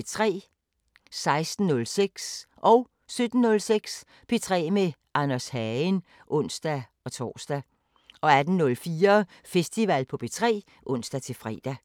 16:06: P3 med Anders Hagen (ons-tor) 17:06: P3 med Anders Hagen (ons-tor) 18:04: Festival på P3 (ons-fre)